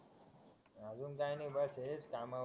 अजून काय नाही बस हेच थांबावं